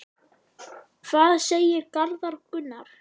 Hvað segir Garðar Gunnar?